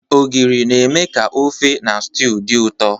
Ogiri na-eme ka ofe na stew dị ụtọ.